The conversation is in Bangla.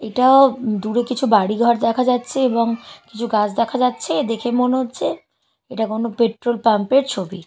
এটা দূরে কিছু বাড়ি ঘর দেখা যাচ্ছে এবং কিছু গাছ দেখা যাচ্ছে এবং দেখে মনে হচ্ছে এটা কোনো পেট্রল পাম্পের ছবি।